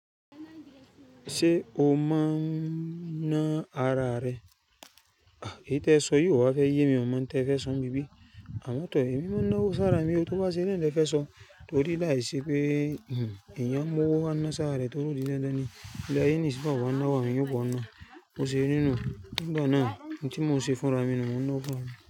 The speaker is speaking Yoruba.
Ṣé o mọ́n ná ara rẹ? Kìí té ẹ sọ yóò wá fẹ́ yé mi, ọmọ té ẹ fẹ́ sọ bibi. Àmọ̀ tó èmi mọ́ná owó sára mi ó tó bá ṣeré lọ́ fẹ́ sọ torí láìṣẹ́ pé ìyá mọ́wọ́ á ná sára rẹ̀ torí ó dín ẹ́ dán ni. Ilẹ́ ayé ní sí bó bá náwó àwọn èyàn ba o ná. Bó ṣe rí nú. Nígbà náà n tí mò ń ṣe fúnra mi nu, mò ń ná ọwọ̀ fún ra mi.